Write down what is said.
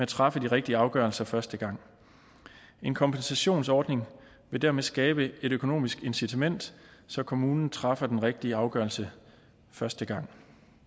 træffe de rigtige afgørelser første gang en kompensationsordning vil dermed skabe et økonomisk incitament så kommunen træffer den rigtige afgørelse første gang